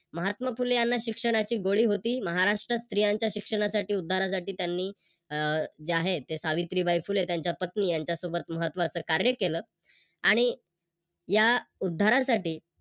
महात्मा फुले यांनी शिक्षणाची गोडी होती. महाराष्ट्रात स्त्रियांच्या शिक्षणासाठी उद्धारासाठी त्यांनी जे आहे सावित्रीबाई फुले त्यांच्या पत्नी यांच्या सोबत महत्वाच कार्य केल आणि या उद्धारासाठी